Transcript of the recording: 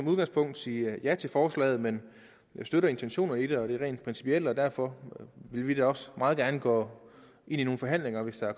udgangspunktet sige ja til forslaget men jeg støtter intentionerne og det rent principielle og derfor vil vi da også meget gerne gå ind i nogle forhandlinger hvis der